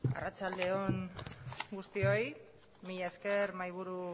arratsalde on guztioi mila esker mahaiburu